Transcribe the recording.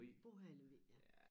Bor her i Lemvig ja